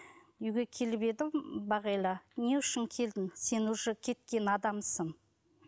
үйге келіп едім бағила не үшін келдің сен уже кеткен адамсың